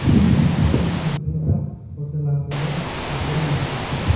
Huma mar Prince Indah oselandorwe kuonde duto